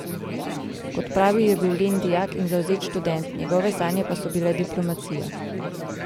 Kot pravi, je bil len dijak in zavzet študent, njegove sanje pa so bile diplomacija.